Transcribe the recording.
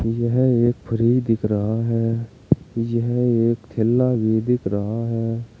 यह एक फ्रिज दिख रहा है यह एक थैला भी दिख रहा है।